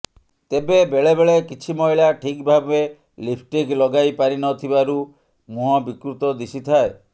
ତେବେ ବେଳେ ବେଳେ କିଛି ମହିଳା ଠିକ୍ ଭାବେ ଲିପ୍ଷ୍ଟିକ୍ ଲଗାଇପାରିନଥିବାରୁ ମୁହଁ ବିକୃତ ଦିଶିଥାଏ